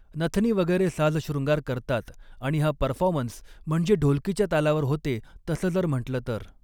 नथनी वगैरे साज शृंगार करतात आणि हा परफॉमन्स म्हणजे ढोलकीच्या तालावर होते तसं जर म्हंटलं तर